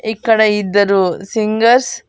ఇక్కడ ఇద్దరు సింగర్స్ --